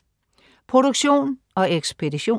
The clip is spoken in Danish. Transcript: Produktion og ekspedition: